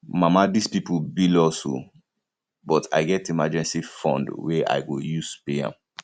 mama dis people bill us oo but i get emergency fund wey i go use pay am